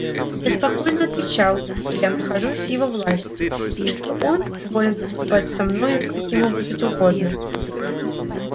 я спокойно отвечал что я нахожусь в его власти и что он волен поступать со мною как ему будет угодно